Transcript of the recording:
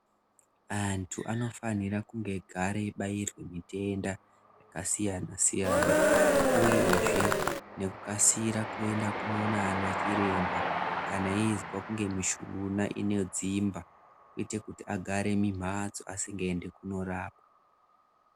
Antu anofanira kunge eigara eibairwa zvitenda zvakasiyana siyana uyezve nekukasira kundoona anachiremba kana eizwa kunge mishuna inodzimba kwete kuti agare mumbatso asingaendi kunorapwa.